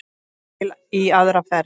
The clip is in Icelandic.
Til í aðra ferð.